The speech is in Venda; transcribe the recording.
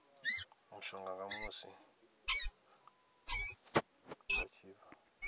mushonga musi vha tshi bva